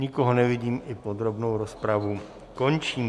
Nikoho nevidím, i podrobnou rozpravu končím.